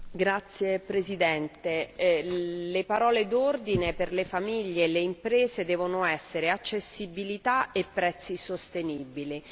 Signor Presidente, le parole d'ordine per le famiglie e le imprese devono essere accessibilità e prezzi sostenibili.